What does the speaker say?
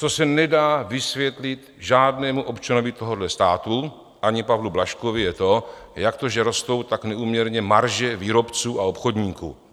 Co se nedá vysvětlit žádnému občanovi tohohle státu, ani Pavlu Blažkovi, je to, jak to, že rostou tak neúměrně marže výrobců a obchodníků.